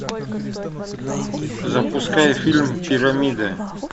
запускай фильм пирамида